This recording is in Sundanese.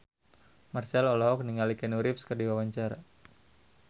Marchell olohok ningali Keanu Reeves keur diwawancara